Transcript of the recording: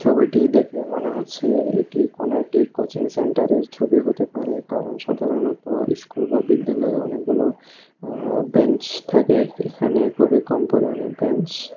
ছবিটি দেখে মনে হচ্ছে এটি কোনো একটি কোচিংসেন্টারের ছবি হতে পারে কারণ সাধারণত ইস্কুল বা বিদ্যালয়ে অনেকগুলো আ বেঞ্চ থাকে এখানে খুবই কম পরিমাণে বেঞ্চ ।